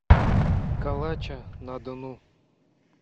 калача на дону